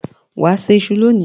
Wà á se iṣu lónìí.